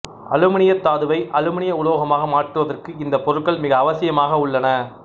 அலுமினியத் தாதுவை அலுமினிய உலோகமாக மாற்றுவதற்கு இந்த பொருட்கள் மிக அவசியமாக உள்ளன